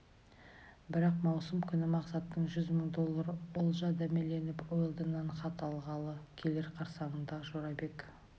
бірақ маусым күні мақсаттың жүз мың доллар олжа дәмеленіп уэлдоннан хат алғалы келер қарсаңында жорабек